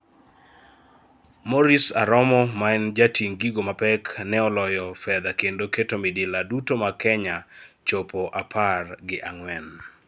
Maurice Aromo maen jating gigo mapek ne oloyo fedha kendo keto midila duto mag Kenya chopo apar gi ang'wen.